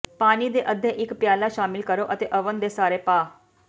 ਪਾਣੀ ਦੇ ਅੱਧੇ ਇੱਕ ਪਿਆਲਾ ਸ਼ਾਮਿਲ ਕਰੋ ਅਤੇ ਓਵਨ ਦੇ ਸਾਰੇ ਪਾ